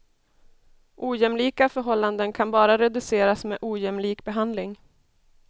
Ojämlika förhållanden kan bara reduceras med ojämlik behandling.